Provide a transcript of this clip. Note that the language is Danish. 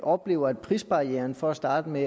oplever at prisbarrieren for at starte med